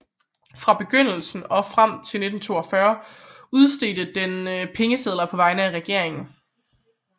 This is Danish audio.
Fra begyndelsen og frem til 1942 udstedte den pengesedler på vegne af regeringen